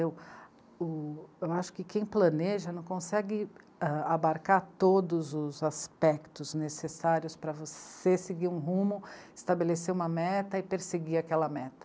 O... eu acho que quem planeja não consegue abarcar todos os aspectos necessários para você seguir um rumo, estabelecer uma meta e perseguir aquela meta.